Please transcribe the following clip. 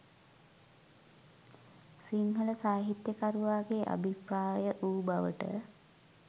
සිංහල සාහිත්‍යකරුවාගේ අභිප්‍රාය වූ බවට